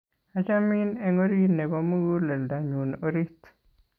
achamin eng' orit nebo muguleldo nyun orit